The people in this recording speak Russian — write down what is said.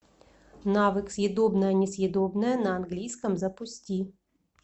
навык съедобное несъедобное на английском запусти